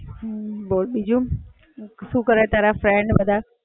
બોલ બીજું, શું કરે તારા friend બધા?